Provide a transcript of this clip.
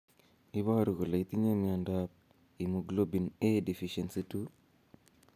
Iporu ne kole itinye miondap Immunoglobulin A deficiency 2?